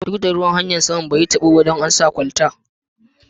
Duk da ruwan saman, hanya'n bai yi tabo ba dan an sa kwalta.